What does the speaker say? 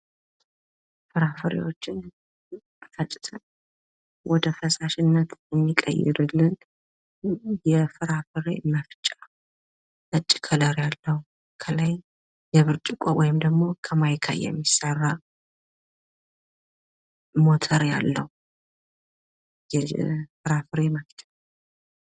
ፍራፍሬዎችን ፈጭቶ ወደ ፈሳሽነት እሚቀይርልን የፍራፍሬ መፍጫ ነጭ ከለር ያለው ከላይ የብርጭቆ ወይም ከማይካ የሚሰራ ሞተር ያለውየፍራፍሬ መፍጫ ነው።